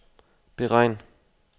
beregn